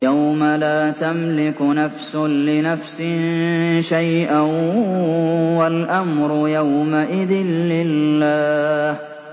يَوْمَ لَا تَمْلِكُ نَفْسٌ لِّنَفْسٍ شَيْئًا ۖ وَالْأَمْرُ يَوْمَئِذٍ لِّلَّهِ